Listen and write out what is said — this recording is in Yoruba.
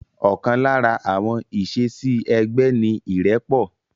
Ọ̀kan lára àwọn ìṣesí ẹgbẹ́ ni irẹpọ̀